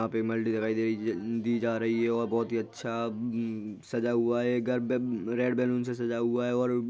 यहां पर दिखाई दे रही है दि दी जा रही है और बोहोत ही अच्छा अम सजा हुआ है। घर बेब रेड बैलून से सजा हुआ है और--